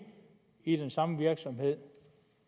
i den samme virksomhed